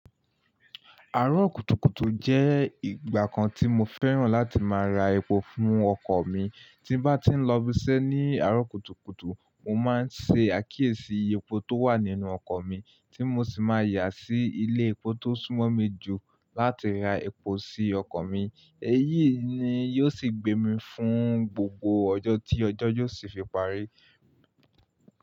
Àárọ̀ kùtùkùtù jẹ́ ìgbà kan tí mo fẹ́ràn láti máa ra epo fún ọkọ̀ mi. Tí n bá ti ń lọ ibiṣẹ́ ní àárọ̀ kùtùkùtù, mo máa ń ṣe àkíyèsí epo tó wà nínú ọkọ̀ mi, tí mo sì máa yà sí ilé epo tó súnmọ́ mi jù láti ra epo sí ọkọ̀ mi. Èyí ni yóò sì gbé mi fún gbogbo ọjọ́ tí ọjọ́ yóò sì fi parí.